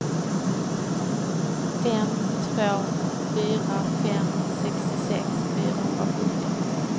fem två fyra fem sextiosex fyrahundrasjutton